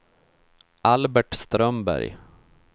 Albert Strömberg